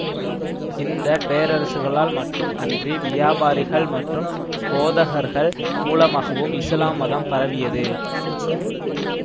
இந்த பேரரசுகளால் மட்டும் அன்றி வியாபாரிகள் மற்றும் போதகர்கள் மூலமாகவும் இசுலாம் மதம் பரவியது